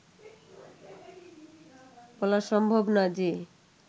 বলা সম্ভব না যে